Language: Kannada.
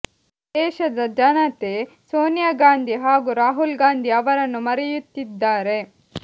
ದೇಶದ ಜನತೆ ಸೋನಿಯಾ ಗಾಂಧಿ ಹಾಗೂ ರಾಹುಲ್ ಗಾಂಧಿ ಅವರನ್ನು ಮರೆಯುತ್ತಿದ್ದಾರೆ